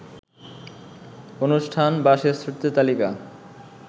অনুষ্ঠান বা শ্রেষ্ঠত্বের তালিকা